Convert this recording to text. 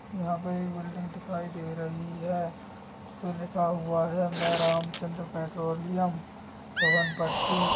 यहाँ पे एक बिल्डिंग दिखाई दे रही है। उसपे लिखा हुआ है मैं रामचंद्र पेट्रोलियम पवनपट्टी--